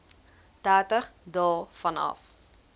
dertig dae vanaf